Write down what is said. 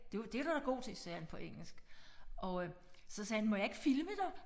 Det er du da god til sagde han på engelsk og øh så sagde han må jeg ikke filme dig